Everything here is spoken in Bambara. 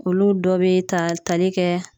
Olu dɔ be ta tali kɛ